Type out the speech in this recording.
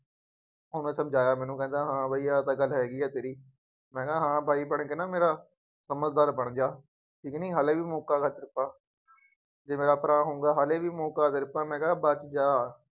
ਉਹਨੇ ਸਮਝਾਇਆਂ ਮੈਨੂੰ ਕਹਿੰਦਾ ਹਾਂ ਬਈ ਆਹ ਤਾਂ ਗੱਲ ਹੈਗੀ ਹੈ ਤੇਰੀ। ਮੈਂ ਕਿਹਾ ਹਾਂ ਬਾਈ ਬਣਕੇ ਨਾ ਮੇਰਾ, ਸਮਝਦਾਰ ਬਣ ਗਿਆ, ਕੁੱਝ ਨਹੀਂ ਹਾਲੇ ਵੀ ਮੌਕਾ ਜੇ ਮੇਰਾ ਆਪਣਾ ਹੋਊਗਾ ਹਾਲੇ ਵੀ ਮੌਕਾ ਮੈਂ ਕਹਿੰਦਾ ਬੱਚ ਜਾ,